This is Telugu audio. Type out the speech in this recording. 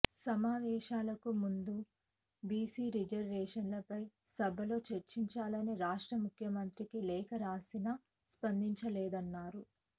సమావేశాలకు ముందు బీసీ రిజర్వేషన్లపై చట్ట సభలో చర్చించాలని రాష్ట్ర ముఖ్యమంత్రికి లేఖ రాసిన స్పందించలేదన్నారు